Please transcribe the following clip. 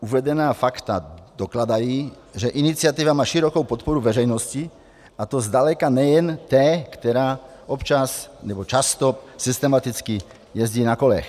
Uvedená fakta dokládají, že iniciativa má širokou podporu veřejnosti, a to zdaleka nejen té, která občas nebo často systematicky jezdí na kolech.